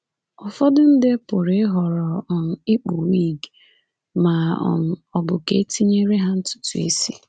Ụfọdụ ndị pụrụ ịhọrọ um ikpu wig ma um ọ bụ ka e tinyere ha ntutu isi.